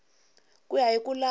ku ya hi ku landza